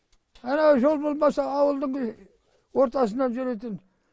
анау жол болмаса ауылдың ортасынан жүретін